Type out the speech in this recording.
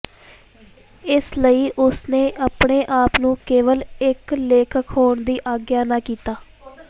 ਇਸ ਲਈ ਉਸ ਨੇ ਆਪਣੇ ਆਪ ਨੂੰ ਕੇਵਲ ਇੱਕ ਲੇਖਕ ਹੋਣ ਦੀ ਆਗਿਆ ਨਾ ਕੀਤਾ